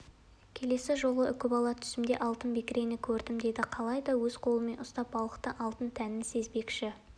келесі жолы үкібала түсімде алтын бекірені көрдім деді қалайда өз қолымен ұстап балықтың алтын тәнін сезінбекші